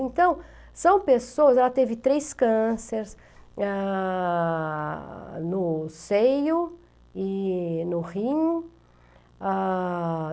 Então, são pessoas, ela teve três cânceres ah... No seio e no rim. Ah...